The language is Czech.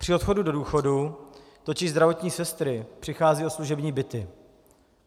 Při odchodu do důchodu totiž zdravotní sestry přicházejí o služební byty.